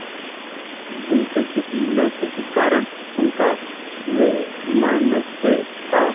जिनसे किसी न किसी कारण उनका वैमनस्य था